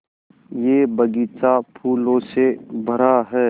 यह बग़ीचा फूलों से भरा है